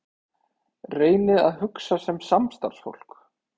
Reynið að hugsa sem samstarfsfólk.